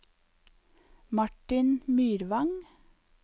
Martin Myrvang